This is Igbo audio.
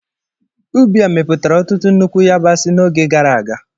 Ubi a mepụtara ọtụtụ nnukwu yabasị n'oge gara aga.